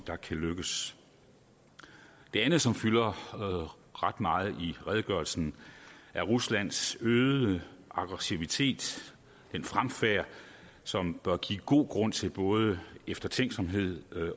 der kan lykkes det andet som fylder ret meget i redegørelsen er ruslands øgede aggressivitet den fremfærd som bør give god grund til både eftertænksomhed